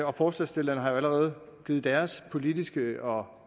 og forslagsstillerne har jo allerede givet deres politiske og